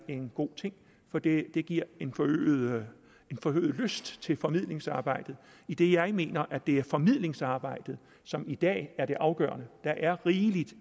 en god ting fordi det giver en forøget forøget lyst til formidlingsarbejdet idet jeg mener at det er formidlingsarbejdet som i dag er det afgørende der er rigeligt